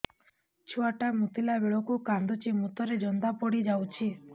ଛୁଆ ଟା ମୁତିଲା ବେଳକୁ କାନ୍ଦୁଚି ମୁତ ରେ ଜନ୍ଦା ପଡ଼ି ଯାଉଛି